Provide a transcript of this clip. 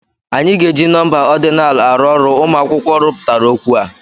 Anyị ga-eji nọmba ordinal arụ ọrụ ụmụ akwụkwọ rụpụtara okwu a.